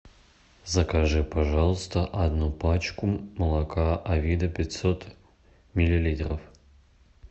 закажи пожалуйста одну пачку молока авида пятьсот миллилитров